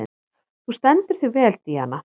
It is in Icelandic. Þú stendur þig vel, Díana!